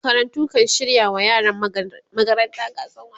makarantu kan shirya wa yaran magaranta gasan wasanni